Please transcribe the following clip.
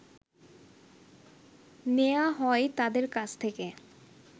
নেয়া হয় তাদের কাছ থেকে